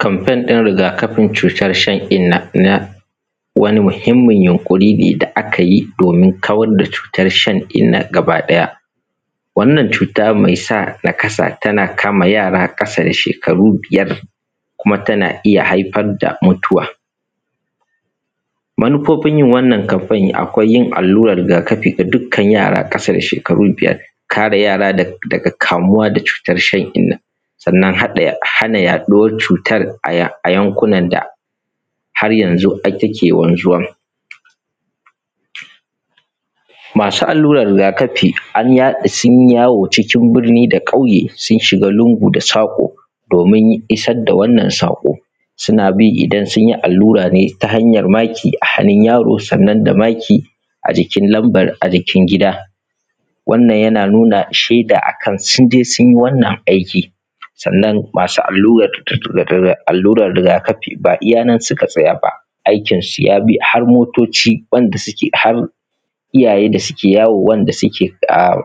kanpen din rigakafin shan inna na wani muhimmin yunkurine da akayi gurin kawan da cutan shan inna gaba daya wannan cuta mai sa naƙasa tana kama jara kasa da shekaru biyar kuma tana iya haifan da mutuwa manufofin yin wannan kaffan a kwai yin alluran ruga kafi ga dukkan yara kasa da shekara biyar kara yara daga kamuwa da shan inna sannan hana yaduwa cutan a yankunan da hanyanxu take wanzuwa masu alluran rugakafi an sun yawo cikin burni da kauye sun shiga sa ƙo domin isar da wannan sunbi lungu da sako suna bi domin isar da sako idan sunyi allura ta hanyar maki a hannun yaro sannan da maki a jikin lamban a jikin gida wannan yana nuna akan sheda sunye sunyi wannan aiki sannan masu alluran rugakafi ba iya nan suka tsaya ba aikin su yabi har motoci wanda suke iyaye da suke yawo wanda suke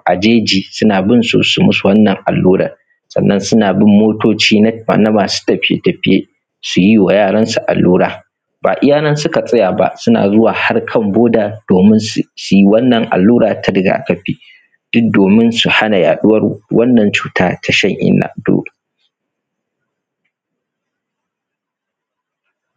a jeji suna binsu su musu wannan alluran sannan suna bin motoci na masu tafiye tafiye suyi wa yaransu allura ba iya nan suka tsaya ba suna zuwa har kan boarder domin suyi wannan allura ta rugakafi domin su hana yaduwan wannan cutar ta shan inna.